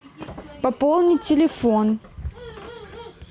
пополнить телефон